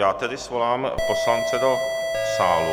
Já tedy svolám poslance do sálu.